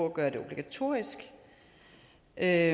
at gøre det obligatorisk at